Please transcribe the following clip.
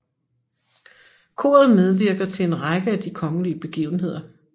Koret medvirker til en række af de kongelige begivenheder